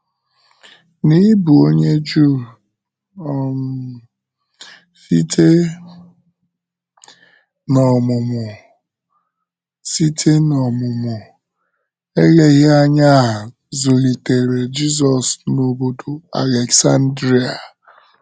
N’ịbụ onye Juu um site n’ọmụmụ, site n’ọmụmụ, eleghị anya a zụlitere Jizọs n’obodo Aleksandria.